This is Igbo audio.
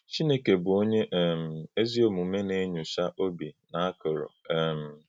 Chínèkè bụ́ Ọ̀nyè um èzí-ọ̀mùmè na-enyòchá òbì na akụ̀rù. um